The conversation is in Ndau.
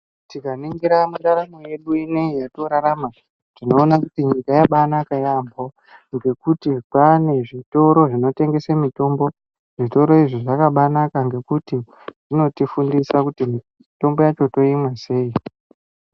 Tikaningira mundaramo yedu ineyi yatinorarama tinoona kuti nyika yabaa naka yaambo ngekuti kwane zvitoro zvinotengesa mitombo zvitoro izvi zvakabaanaka nekuti zvinotifundisa kuti mitombo yacho toimwa sei.